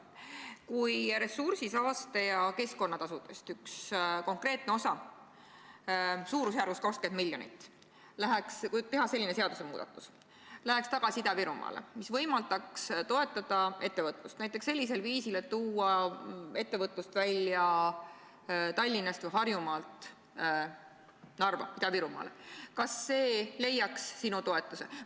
Kui ressursi-, saaste- ja keskkonnatasudest üks konkreetne osa suurusjärgus 20 miljonit läheks – kui teha selline seadusmuudatus – tagasi Ida-Virumaale, nii et see võimaldaks toetada ettevõtlust sellisel viisil, et viia ettevõtlus Tallinnast ja Harjumaalt välja Ida-Virumaale, kas see leiaks sinu toetust?